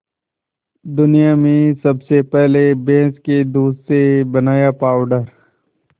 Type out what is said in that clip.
दुनिया में सबसे पहले भैंस के दूध से बनाया पावडर